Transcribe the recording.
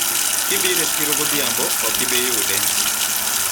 ukija sokoni jioni, hutampata